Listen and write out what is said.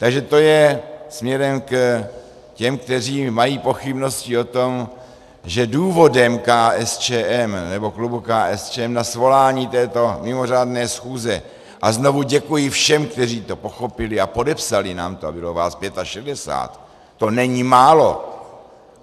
Takže to je směrem k těm, kteří mají pochybnosti o tom, že důvodem KSČM, nebo klubu KSČM, na svolání této mimořádné schůze, a znovu děkuji všem, kteří to pochopili a podepsali nám to, a bylo vás 65, to není málo.